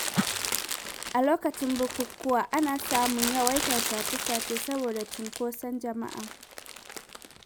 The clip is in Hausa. A lokacin bukukuwa, ana samun yawaitar sace-sace saboda cinkoson jama’a.